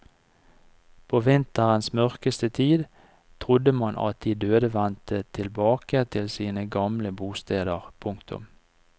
På vinterens mørkeste tid trodde man at de døde vendte tilbake til sine gamle bosteder. punktum